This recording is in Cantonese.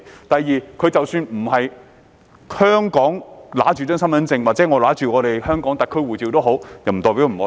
第二，即使沒有持有香港身份證或香港特區護照，亦不代表不愛國。